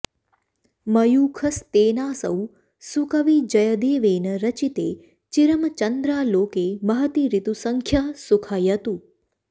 मयूखस्तेनासौ सुकविजयदेवेन रचिते चिरं चन्द्रालोके महति ऋतुसङ्ख्यः सुखयतु